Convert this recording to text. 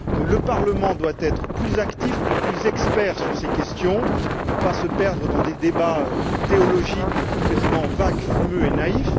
Le Parlement doit être plus actif et plus expert sur ces questions et ne pas se perdre dans des débats théologiques complètement vagues, fumeux et naïfs.